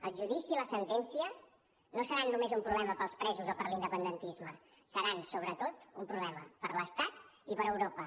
el judici i la sentència no seran només un problema per als presos o per a l’independentisme seran sobretot un problema per a l’estat i per a europa